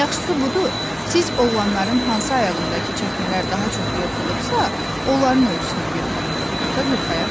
Yaxşısı budur, siz oğlanların hansı ayağındakı çəkmələr daha çox yırtılıbsa, onların ölçüsünü götürün, ata qırxayaq dedi.